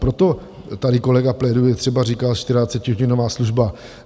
Proto tady kolega pléduje, třeba říká 24hodinová služba.